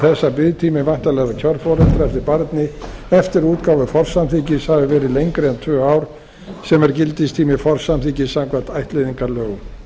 að biðtími væntanlegrar kjörforeldra eftir barni eftir útgáfu forsamþykkis hafi verið lengri en tvö ár sem er gildistími forsamþykkis samkvæmt ættleiðingarlögum